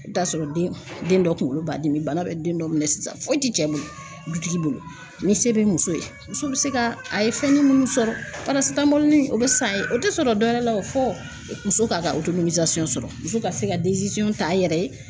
I bɛ t'a sɔrɔ den, den dɔ kunkolo b'a dimi bana bɛ den dɔ minɛ sisan foyi ti cɛ bolo, dutigi bolo ni se bɛ muso ye muso bɛ se ka, a ye fɛn minnu sɔrɔ o bɛ san a ye o tɛ sɔrɔ dɔwɛrɛ la o fɔ muso k'a ka sɔrɔ muso ka se ka ta a yɛrɛ ye